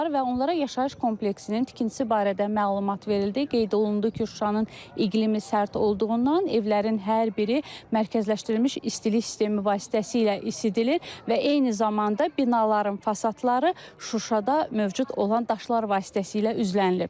və onlara yaşayış kompleksinin tikintisi barədə məlumat verildi, qeyd olundu ki, Şuşanın iqlimi sərt olduğundan evlərin hər biri mərkəzləşdirilmiş istilik sistemi vasitəsilə isidilir və eyni zamanda binaların fasadları Şuşada mövcud olan daşlar vasitəsilə üzlənilib.